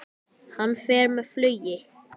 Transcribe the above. Hann fer með flugi.